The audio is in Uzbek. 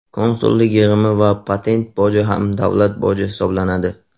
Konsullik yig‘imi va patent boji ham davlat boji hisoblanadi.